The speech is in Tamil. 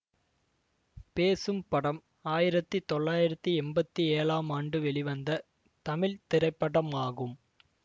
பேசும் படம் ஆயிரத்தி தொள்ளாயிரத்தி எம்பத்தி ஏழாம் ஆண்டு வெளிவந்த தமிழ் திரைப்படமாகும்